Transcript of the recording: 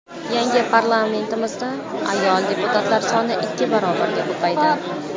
Yangi Parlamentimizda ayol deputatlar soni ikki barobarga ko‘paydi.